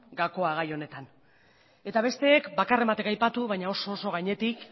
gakoa gai honetan eta besteek bakarren batek aipatu baina oso gainetik